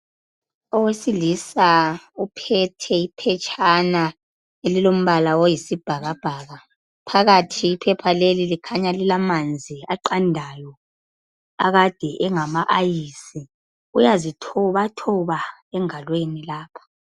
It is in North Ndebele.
Owesilisa uphethe iphetshana elilombala oyisibhakabhaka. Phakathi iphepha leli likhanya lilamanzi aqandayo akade engama ayisi uyazithobathoba engalweni lapha.